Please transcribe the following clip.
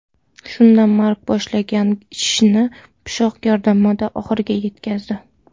Shunda Mark boshlagan ishini pichoq yordamida oxiriga yetkazdi.